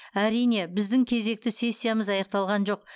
әрине біздің кезекті сессиямыз аяқталған жоқ